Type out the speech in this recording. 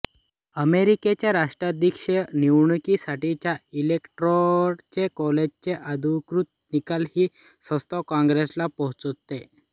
अमेरिकेच्या राष्ट्राध्यक्षीय निवडणुकीसाठीच्या इलेक्टोरल कॉलेजचे अधिकृत निकाल ही संस्था कॉंग्रेसला पोचवते